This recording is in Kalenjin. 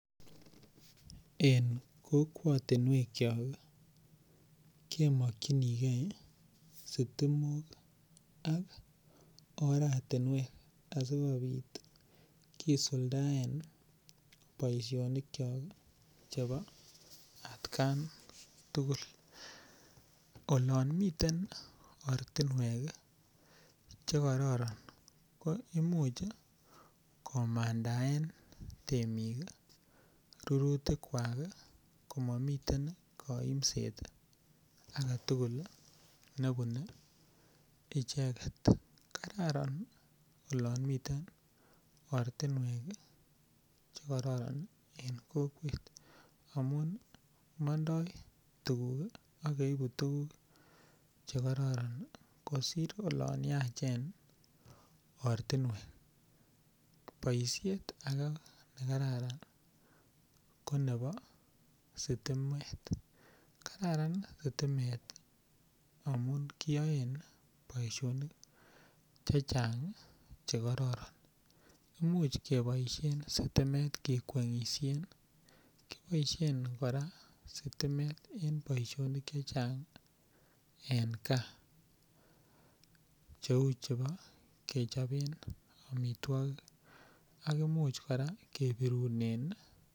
En kokwotinwek chok kemokchinigei sitimok ak oratinwek asikobit kisuldaen boishonik chok chebo atkan tugul olon miten ortinwek chekororon ko imuuch komandaen temik rurutik kwak komamiten koimset agetugul nebunei icheget kararan olon miten ortinwek chekororon en kokwet amun mondoi tukuk ak keibu tukuk chekoron kosir olon yachen ortinwek boishet age nekararan ko nebo sitimet kararan sitimet amun kiyoe boishonik chechang' chekororon imuuch keboishen sitimet kekweng'ishen koboishen kora sitimet eng' boishonik chechang' en kaa cheu chebo kechoben amitwokik ak imuch kora kebirunen